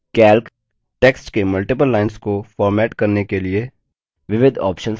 calc text के multiple lines को format करने के लिए विविध options प्रदान करता है